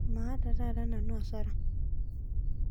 Maata taata nanu asara